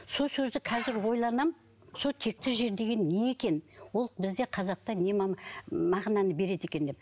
сол сөзді қазір ойланамын сол текті жер деген не екен ол бізде қазақта не мағынаны береді екен деп